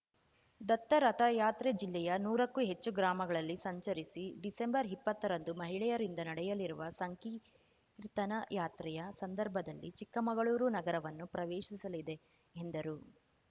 ದತ್ತ ರಥಯಾತ್ರೆ ಜಿಲ್ಲೆಯ ನೂರಕ್ಕೂ ಹೆಚ್ಚು ಗ್ರಾಮಗಳಲ್ಲಿ ಸಂಚರಿಸಿ ಡಿಸೆಂಬರ್ ಇಪ್ಪತ್ತರಂದು ಮಹಿಳೆಯರಿಂದ ನಡೆಯಲಿರುವ ಸಂಕೀರ್ತನಾ ಯಾತ್ರೆಯ ಸಂದರ್ಭದಲ್ಲಿ ಚಿಕ್ಕಮಗಳೂರು ನಗರವನ್ನು ಪ್ರವೇಶಿಸಲಿದೆ ಎಂದರು